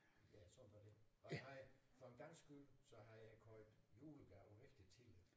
Ja sådan var det og jeg har for en gangs skyld så havde jeg købt julegaver rigtig tidligt